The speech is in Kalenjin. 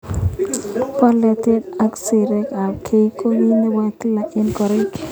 Polotet ak siret ap kei ko ki nepo kila ing korik.